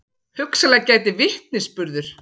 Hugsanlega gæti vitnisburður